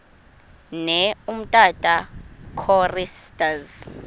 ne umtata choristers